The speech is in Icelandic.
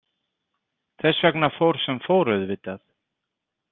Þess vegna fór sem fór, auðvitað.